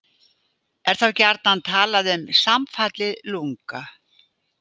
Er þá gjarnan talað um samfallið lunga.